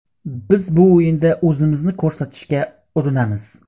Biz bu o‘yinda o‘zimizni ko‘rsatishga urinamiz.